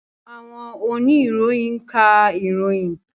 Àwọn oníròyìn ń ka ìròyìn.